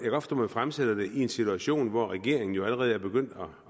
fremsætter det i en situation hvor regeringen jo allerede er begyndt